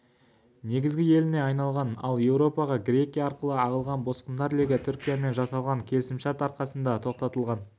негізгі еліне айналған ал еуропаға грекия арқылы ағылған босқындар легі түркиямен жасалған келісімшарт арқасында тоқтатылған